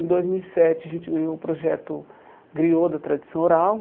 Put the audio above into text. Em dois mil e sete, a gente ganhou o projeto Griô da tradição oral.